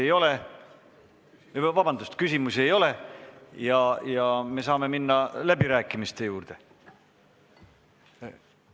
Teile rohkem küsimusi ei ole ja me saame minna läbirääkimiste juurde.